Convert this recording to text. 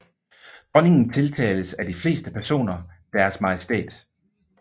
Dronningen tiltales af de fleste personer Deres Majestæt